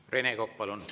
Rene Kokk, palun!